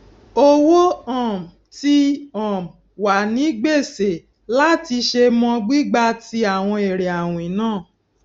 owó um ti um wà ní gbèsè láti ṣe mọ gbígba tí àwọn èrè àwìn náà